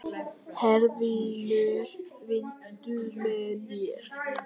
Herfinnur, viltu hoppa með mér?